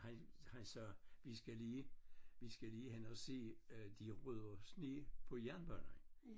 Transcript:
Han han sagde vi skal lige vi skal lige hen og se øh de rydder sne på jernbanerne